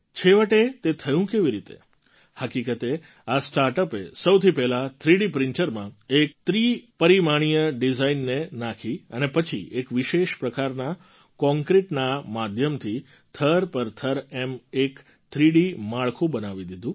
છેવટે તે થયું કેવી રીતે હકીકતે આ સ્ટાર્ટઅપે સૌથી પહેલાં થ્રીડી પ્રિન્ટરમાં એક ત્રિપરિમાણીય ડિઝાઇનને નાખી અને પછી એક વિશેષ પ્રકારના કૉન્ક્રિટના માધ્યમથી થર પર થર એમ એક થ્રીડી માળખું બનાવી દીધું